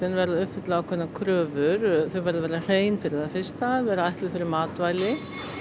verða að uppfylla ákveðnar kröfur þau verða að vera hrein fyrir það fyrsta vera ætluð fyrir matvæli